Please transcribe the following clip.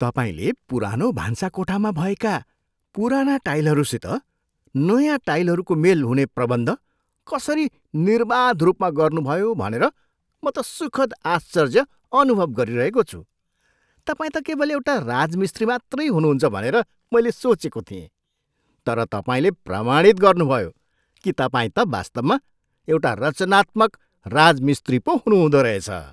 तपाईँले पुरानो भान्साकोठामा भएका पुराना टाइलहरूसित नयाँ टाइलहरूको मेल हुने प्रबन्ध कसरी निर्बाध रूपमा गर्नुभयो भनेर म त सुखद आश्चर्य अनुभव गरिरहेको छु। तपाईँ त केवल एउटा राजमिस्त्री मात्रै हुनुहुन्छ भनेर मैले सोचेको थिएँ तर तपाईँले प्रमाणित गर्नुभयो कि तपाईँ त वास्तवमा एउटा रचनात्मक राजमिस्त्री पो हुनुहुँदो रहेछ।